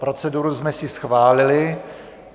Proceduru jsme si schválili.